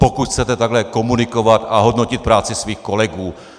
Pokud chcete takhle komunikovat a hodnotit práci svých kolegů.